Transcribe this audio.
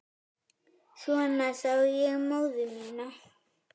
Svona sá ég móður mína.